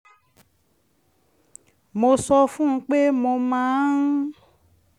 mo sọ fún un pé mo máa ń